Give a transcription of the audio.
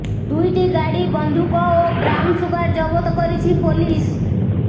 ଦୁଇଟି ଗାଡି ବନ୍ଧୁକ ଓ ବ୍ରାଉନ ସୁଗାର ଜବତ କରିଛି ପୋଲିସ